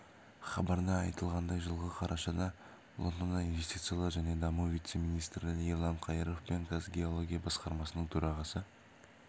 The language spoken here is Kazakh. хабарда айтылғандай жылғы қарашада лондонда инвестициялар және даму вице министрі ерлан қайыров пен қазгеология басқармасының төрағасы